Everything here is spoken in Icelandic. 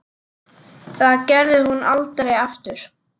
Það gerði hún aldrei aftur.